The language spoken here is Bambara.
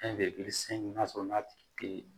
Fɛn bɛɛ bi se n'a sɔrɔ n'a tigi te